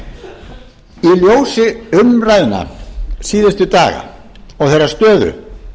í ljósi umræðna síðustu daga og þeirrar stöðu